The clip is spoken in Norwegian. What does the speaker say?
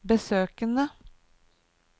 besøkene